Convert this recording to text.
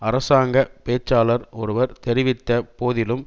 அரசாங்க பேச்சாளர் ஒருவர் தெரிவித்த போதிலும்